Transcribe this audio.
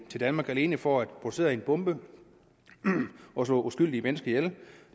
til danmark alene for at producere en bombe og slå uskyldige mennesker ihjel